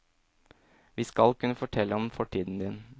Vi skal kunne fortelle om fortiden din.